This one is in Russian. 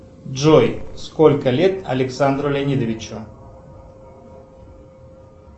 джой сколько лет александру леонидовичу